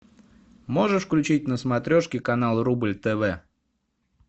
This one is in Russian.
можешь включить на смотрешке канал рубль тв